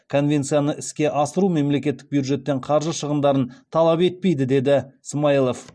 конвенцияны іске асыру мемлекеттік бюджеттен қаржы шығындарын талап етпейді деді смайылов